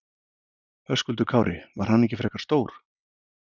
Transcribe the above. Höskuldur Kári: Var hann ekki frekar stór?